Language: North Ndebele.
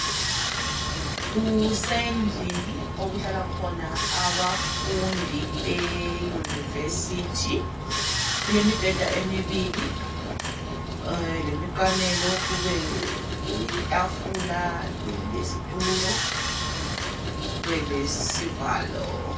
Kusendlini okuhlala khona abafundi beyunivesithi. Kulemibheda emibili lemiqamelo kube letafula lesitulo kube lesivalo.